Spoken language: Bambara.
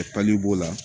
b'o la